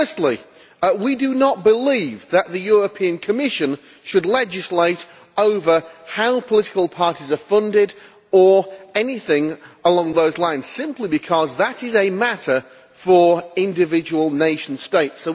Firstly, we do not believe that the Commission should legislate over how political parties are funded, or anything along those lines simply because that is a matter for individual nation states.